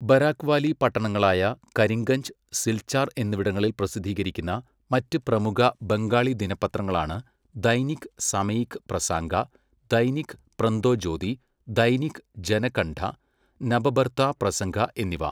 Barack valley പട്ടണങ്ങളായ കരിംഗഞ്ച്, സിൽചാർ എന്നിവിടങ്ങളിൽ പ്രസിദ്ധീകരിക്കുന്ന മറ്റ് പ്രമുഖ ബംഗാളി ദിനപത്രങ്ങളാണ് ദൈനിക് സമയിക് പ്രസാംഗ, ദൈനിക് പ്രന്തോജ്യോതി, ദൈനിക് ജനകണ്ഠ, നബബർത്ത പ്രസങ്ക എന്നിവ.